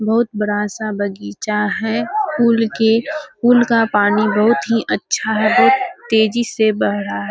बहुत बड़ा सा बगीचा है पुल के पुल का पानी बहुत ही अच्छा है बहुत तेजी से बढ़ रहा है।